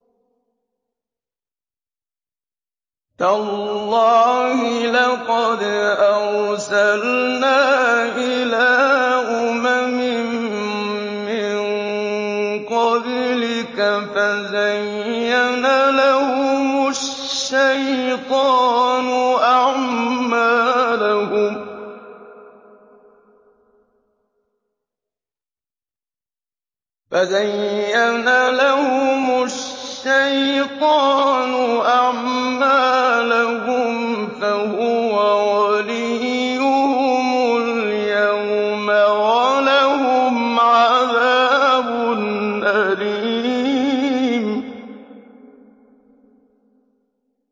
تَاللَّهِ لَقَدْ أَرْسَلْنَا إِلَىٰ أُمَمٍ مِّن قَبْلِكَ فَزَيَّنَ لَهُمُ الشَّيْطَانُ أَعْمَالَهُمْ فَهُوَ وَلِيُّهُمُ الْيَوْمَ وَلَهُمْ عَذَابٌ أَلِيمٌ